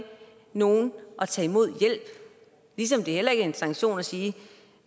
nogen at tage imod hjælp ligesom det heller ikke er en sanktion at sige